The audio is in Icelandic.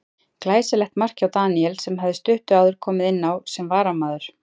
Glæsilegt mark hjá Daníel sem hafði stuttu áður komið inn á sem varamaður.